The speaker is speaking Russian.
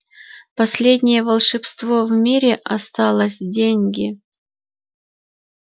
последнее волшебство в мире осталось деньги